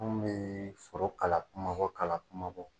Anw mi foro kala kumabaw kala kumabaw